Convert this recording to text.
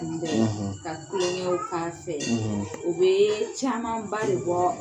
Uuu bɛɛ; Ka klogɛnw k'a fɛ; ; U bɛ caman ba de bɔ